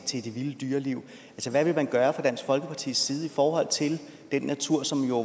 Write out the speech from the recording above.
til det vilde dyreliv hvad vil man gøre fra dansk folkepartis side for den natur som jo